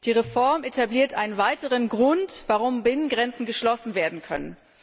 Die Reform etabliert einen weiteren Grund, warum Binnengrenzen geschlossen werden können.